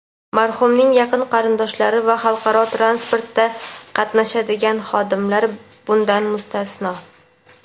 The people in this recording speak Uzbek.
marhumning yaqin qarindoshlari va xalqaro transportda qatnashadigan xodimlar bundan mustasno.